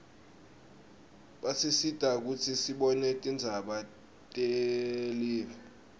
basisita kutsi sibone tindzaba telive